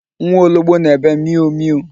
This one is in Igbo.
Nwa ologbo na-ebe mịụ mịụ.